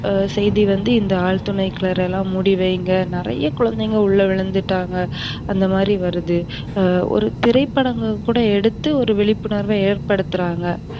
செய்தி வந்து இந்த ஆழ்துளை கிணறு எல்லாம் மூடி வைங்க. நறைய குழந்தைங்க உள்ள விழுந்துட்டாங்க அந்தமாதிரி வருது. ஒரு திரைபடங்கள் கூட எடுத்து ஒரு விழிப்புணர்வ ஏற்படுத்துறாங்க.